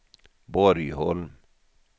Borgholm